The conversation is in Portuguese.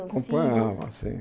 Acompanhava, sim.